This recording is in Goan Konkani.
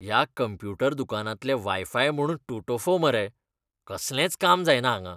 ह्या कंप्युटर दुकानांतलें वायफाय म्हूण टोटोफो मरे. कसलेंच काम जायना हांगां.